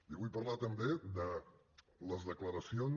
li vull parlar també de les declaracions